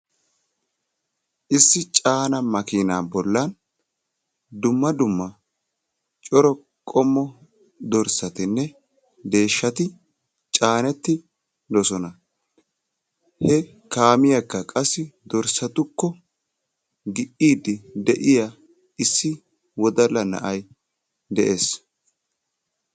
Issi caana makinaa bollan dumma dumma cora qommo dorssatinne deeshshati caanettidosona. he kaamiyaakka qassi dorssatukko gi"iiddi de'iyaa issi wodalla na'ay de'ees.